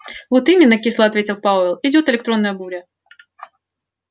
вот именно кисло ответил пауэлл идёт электронная буря